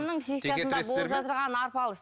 психикасында болып жатырған арпалыс